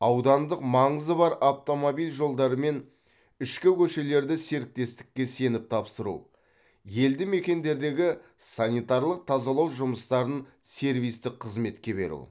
аудандық маңызы бар автомобиль жолдары мен ішкі көшелерді серіктестікке сеніп тапсыру елді мекендердегі санитарлық тазалау жұмыстарын сервистік қызметке беру